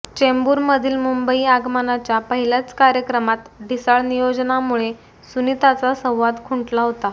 चेंबूरमधील मुंबई आगमनाच्या पहिल्याच कार्यक्रमात ढिसाळ नियोजनामुळे सुनीताचा संवाद खुंटला होता